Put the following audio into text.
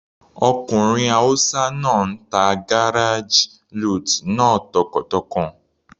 Ọkùnrin hausa náà ń ta garage lute náà tọkàntọkàn.